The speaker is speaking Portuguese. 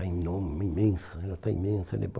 está enor imensa né, ela está imensa né.